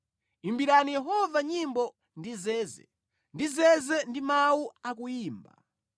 Imbirani Yehova nyimbo ndi zeze, ndi zeze ndi mawu a kuyimba,